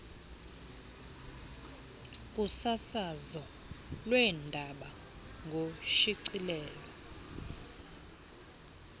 kusasazo lweendaba ngoshicilelo